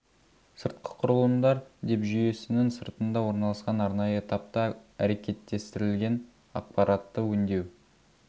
сыртқы құрылымдар деп жүйесінің сыртында орналасқан арнайы этапта әрекеттестірілген ақпаратты өңдеу